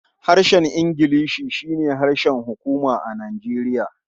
Harshen Ingilishi shi ne harshen hukuma a Nijeriya.